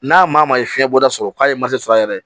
N'a maa maa ye fiɲɛ bɔda sɔrɔ k'a ye sɔrɔ yɛrɛ